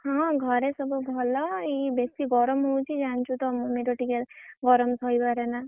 ହଁ ଘରେ ସବୁ ଭଲ ଏଇ ବେଶୀ ଗରମ ହଉଛି ଜାଣିଛୁତ ମମୀର ଟିକେ ଗରମ ସହିପାରେନା।